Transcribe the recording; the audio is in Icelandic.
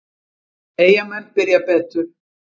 Eyjamenn byrja betur.